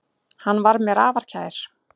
Hann var mér afar kær.